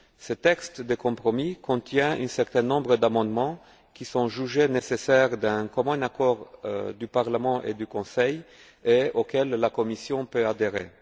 Ce texte de compromis contient un certain nombre d'amendements qui sont jugés nécessaires d'un commun accord entre Parlement et le Conseil et auxquels la Commission peut adhérer.